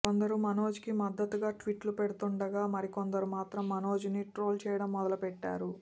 కొందరు మనోజ్ కి మద్దతుగా ట్వీట్లు పెడుతుండగా మరికొందరు మాత్రం మనోజ్ ని ట్రోల్ చేయడం మొదలుపెట్టారు